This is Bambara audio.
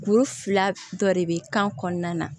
Kuru fila dɔ de bɛ kan kɔnɔna na